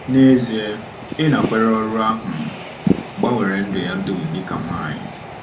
Nezie, ịnakwere ọrụ ahụ gbanwere ndụ ya dum dị ka nwanyị.